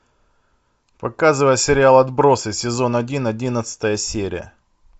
показывай сериал отбросы сезон один одиннадцатая серия